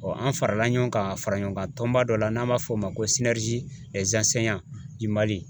an farala ɲɔgɔn kan faraɲɔgɔnkan tɔnba dɔ la n'an b'a fɔ o ma ko Mali.